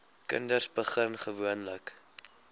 kinders begin gewoonlik